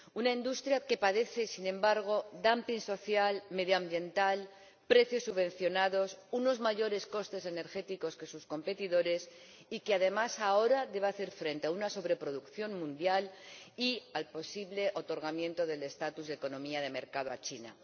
Una industria que padece, sin embargo, social, medioambiental, precios subvencionados y unos costes energéticos superiores a los de sus competidores y que, además, ahora, debe hacer frente a la sobreproducción mundial y el posible otorgamiento del estatus de economía de mercado a China.